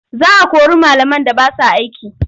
Za a kori malaman da ba sa aiki.